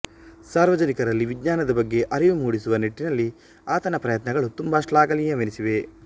ಸಾರ್ವಜನಿಕರಲ್ಲಿ ವಿಜ್ಞಾನದ ಬಗ್ಗೆ ಅರಿವು ಮೂಡಿಸುವ ನಿಟ್ಟಿನಲ್ಲಿ ಆತನ ಪ್ರಯತ್ನಗಳು ತುಂಬಾ ಶ್ಲಾಘನೀಯವೆನಿಸಿವೆ